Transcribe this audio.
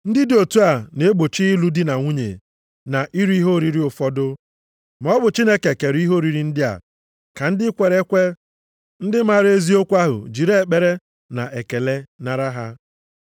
Ndị dị otu a na-egbochi ịlụ dị na nwunye na iri ihe oriri ụfọdụ. Ma ọ bụ Chineke kere ihe oriri ndị a ka ndị kwere ekwe, ndị maara eziokwu ahụ jiri ekpere na ekele nara ha.